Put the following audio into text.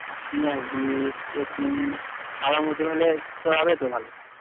পিঁয়াজ দিস রসুন খওয়ার মতন হলে তোর হবে তো ভালো